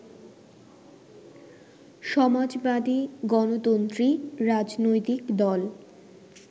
সমাজবাদী গণতন্ত্রী রাজনৈতিক দল